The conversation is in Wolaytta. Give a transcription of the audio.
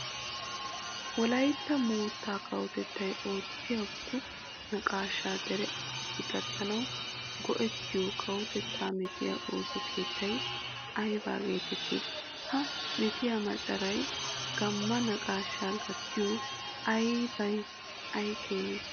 Wolaytta moottaa kawotettay oottiyobatu naqaashaa dere asaassi gattanawu go"ettiyo kawotettaa meetiya ooso keettay ayba geetettii? Ha meetiya macaray gamma naqaashaa gattiyo abbee ay keenee?